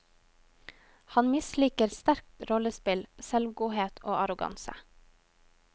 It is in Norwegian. Han misliker sterkt rollespill, selvgodhet og arroganse.